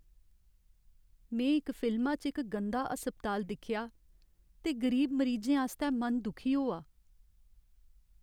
में इक फिल्मा च इक गंदा अस्पताल दिक्खेआ ते गरीब मरीजें आस्तै मन दुखी होआ।